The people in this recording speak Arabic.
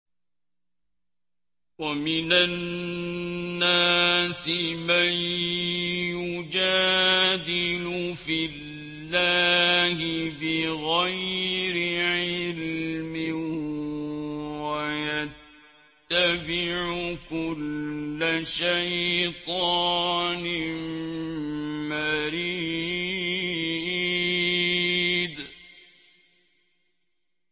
وَمِنَ النَّاسِ مَن يُجَادِلُ فِي اللَّهِ بِغَيْرِ عِلْمٍ وَيَتَّبِعُ كُلَّ شَيْطَانٍ مَّرِيدٍ